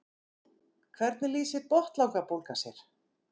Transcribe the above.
Hvernig lýsir botnlangabólga sér?